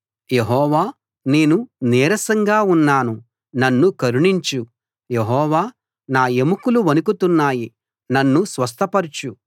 యెహోవా నేను నీరసంగా ఉన్నాను నన్ను కరుణించు యెహోవా నా ఎముకలు వణుకుతున్నాయి నన్ను స్వస్థపరచు